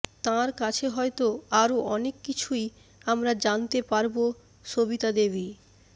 তাঁর কাছে হয়ত আরো অনেক কিছুই আমরা জানতে পারব সবিতা দেবী